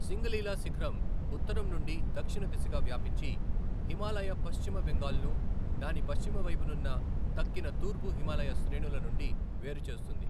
సింగలీలా శిఖరం ఉత్తరం నుండి దక్షిణ దిశగా వ్యాపించి, హిమాలయ పశ్చిమ బెంగాల్ను దాని పశ్చిమవైపునున్న తక్కిన తూర్పు హిమాలయ శ్రేణుల నుండి వేరు చేస్తుంది.